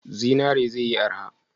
Zinare ze yi arha?